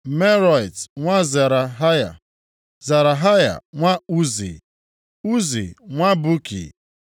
Meraiot nwa Zerahaya; Zerahaya nwa Uzi, Uzi nwa Buki;